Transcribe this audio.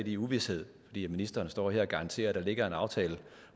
i uvished fordi ministeren står her og garanterer at der ligger en aftale